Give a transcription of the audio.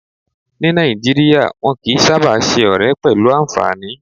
Ní Nàìjíríyà, wọ́n kìí sáábà ṣe ọ̀rẹ́ pẹ̀lú anfààní